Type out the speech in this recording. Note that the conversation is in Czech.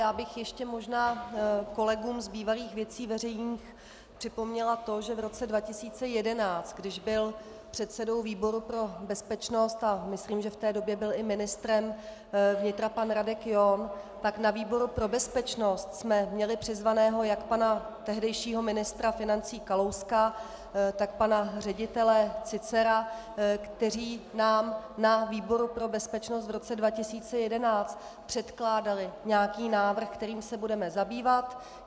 Já bych ještě možná kolegům z bývalých Věcí veřejných připomněla to, že v roce 2011, když byl předsedou výboru pro bezpečnost, a myslím, že v té době byl i ministrem vnitra pan Radek John, tak na výboru pro bezpečnost jsme měli přizvaného jak pana tehdejšího ministra financí Kalouska, tak pana ředitele Cícera, kteří nám na výboru pro bezpečnost v roce 2011 předkládali nějaký návrh, kterým se budeme zabývat.